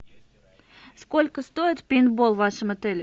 сколько стоит пейнтбол в вашем отеле